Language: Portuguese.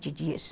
de dias